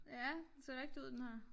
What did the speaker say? Ja den ser rigtig ud den her